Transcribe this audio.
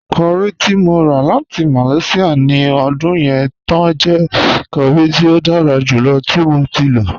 Curry ti mo rà láti Malaysia ní ọdún yẹn túń jẹ̀ curry tí o dára júlọ̀ tí mo ti lọ.